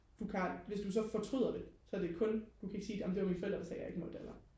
du kan aldrig hvis du så fortryder det så er det kun du kan ikke sige amen det var mine forældre der sagde jeg ikke måtte eller